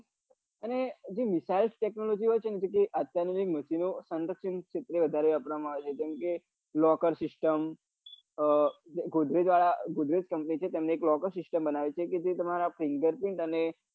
અને જે વિશાલ technology હોય છે અત્યાધુનિક machino અંદર્દુનીક ક્ષેત્રે વઘુ વાપરવામાં આવે છે જેમકે લોકર system ગોદરેજ વાળા ગોદરેજ company છે તેમને એક લોકર સીસ્ટમ બનાવે છે જે તમારા fingarprint અને